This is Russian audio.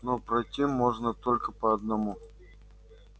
но пройти можно только по одному